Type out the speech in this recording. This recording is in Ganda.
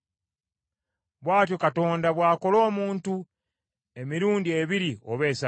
“Bw’atyo Katonda bw’akola omuntu emirundi ebiri oba esatu,